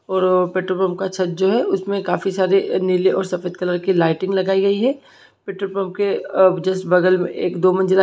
और petrol pump का छत जो है उसमें काफी सारे नीले और सफेद कलर की लाइटिंग लगाई गई है पेट्रोल पम्प के जस्ट बगल में एक दो मंजिला--